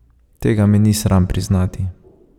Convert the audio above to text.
Tega me ni sram priznati.